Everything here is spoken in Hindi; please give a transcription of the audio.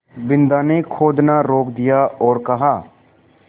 बिन्दा ने खोदना रोक दिया और कहा